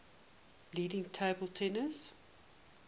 leading table tennis